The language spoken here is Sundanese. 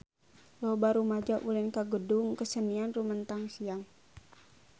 Loba rumaja ulin ka Gedung Kesenian Rumetang Siang